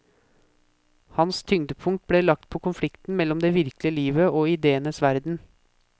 Hans tyngdepunkt ble lagt på konflikten mellom det virkelige livet og idéenes verden.